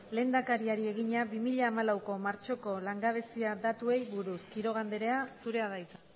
lehendakariari egina bi mila hamalauko martxoko langabezia datuei buruz quiroga andrea zurea da hitza